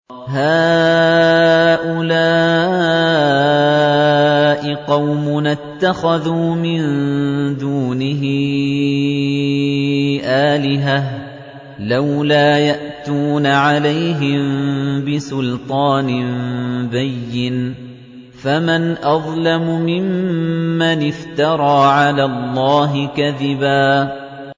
هَٰؤُلَاءِ قَوْمُنَا اتَّخَذُوا مِن دُونِهِ آلِهَةً ۖ لَّوْلَا يَأْتُونَ عَلَيْهِم بِسُلْطَانٍ بَيِّنٍ ۖ فَمَنْ أَظْلَمُ مِمَّنِ افْتَرَىٰ عَلَى اللَّهِ كَذِبًا